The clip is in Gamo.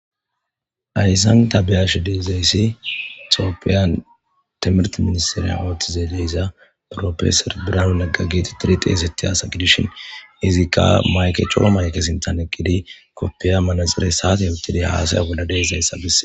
Hayssan ta beyash deizayssi tiopiyan timrt ministiriya awtizeeleyza profeser biraaun aggagiti tiri xeesetti haasa gidishin izikka mayke coo maykesintan eqqidi koppiya manaxire saate yootiday haasaya wodade zayssa bise